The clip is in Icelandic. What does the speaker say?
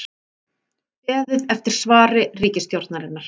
Beðið eftir svari ríkisstjórnarinnar